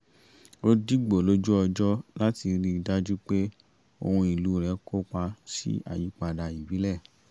ó dìbò lójú ọjọ́ láti rí i dájú pé ohùn ìlú rẹ̀ kópa sí àyípadà ìbílẹ̀